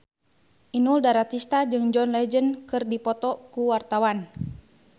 Inul Daratista jeung John Legend keur dipoto ku wartawan